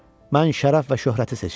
Mən şərəf və şöhrəti seçirəm.